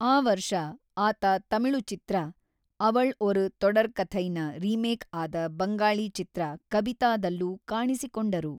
ಆ ವರ್ಷ, ಆತ ತಮಿಳು ಚಿತ್ರ ʼಅವಳ್ ಒರು ತೊಡರ್ಕಥೈʼನ ರಿಮೇಕ್ ಆದ ಬಂಗಾಳಿ ಚಿತ್ರ ʼಕಬಿತಾʼದಲ್ಲೂ ಕಾಣಿಸಿಕೊಂಡರು.